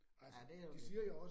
Ja, det jo det